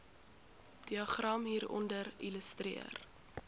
diagram hieronder illustreer